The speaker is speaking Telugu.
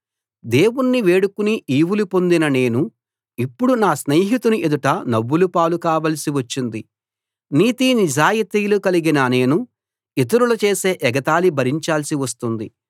దేవుణ్ణి వేడుకుని ఈవులు పొందిన నేను ఇప్పుడు నా స్నేహితుని ఎదుట నవ్వులపాలు కావలసి వచ్చింది నీతి నిజాయితీలు కలిగిన నేను ఇతరులు చేసే ఎగతాళి భరించాల్సి వస్తుంది